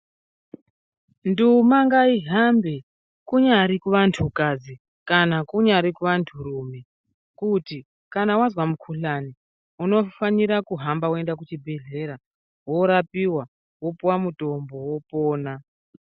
Nduma ngayihambe kunyari kuvantukadzi, kana kunyari kuvanturume, kuti kana wazva mukhuhlani, unofanira kuhamba weyenda kuchibhedhlera, worapiwa, wopuwa mutombo, wopona.